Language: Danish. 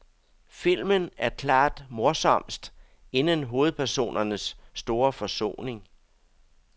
Filmen er klart morsomst, inden hovedpersonernes store forsoning.